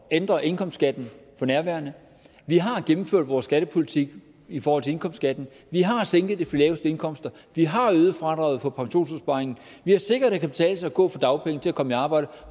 ændre indkomstskatten for nærværende vi har gennemført vores skattepolitik i forhold til indkomstskatten vi har sænket det for de laveste indkomster vi har øget fradraget på pensionsopsparingen og vi har sikret at det kan betale sig at gå fra dagpenge til at komme i arbejde